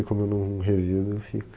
E como eu não revido, eu fico.